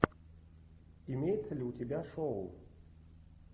имеется ли у тебя шоу